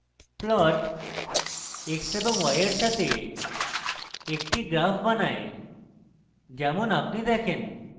plot x y x এর সাথে y এর একটি graph বানায় যেমন আপনি দেখেন